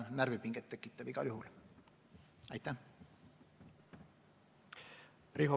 Riho Breivel, palun!